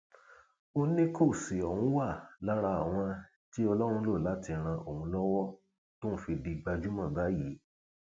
ó ní kóòsì ọhún wà lára àwọn tí ọlọrun lò láti ran òun lọwọ tóun fi di gbajúmọ báyìí